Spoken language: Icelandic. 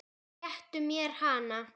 Réttu mér hana